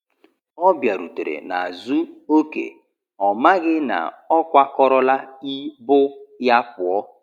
Ọ biarutere n'azu oke, ọmaghi na ọkwa kọrọ la ibụ ya puọ